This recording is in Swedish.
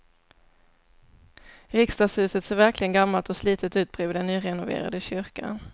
Riksdagshuset ser verkligen gammalt och slitet ut bredvid den nyrenoverade kyrkan.